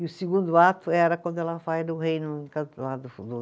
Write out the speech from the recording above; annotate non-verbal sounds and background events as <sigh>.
E o segundo ato era quando ela vai do reino <unintelligible>